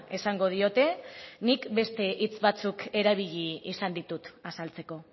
esango diote nik beste hitz batzuk erabili izan ditut azaltzeko